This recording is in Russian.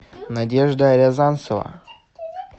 надежда рязанцева